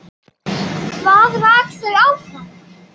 Hvað rak þau áfram?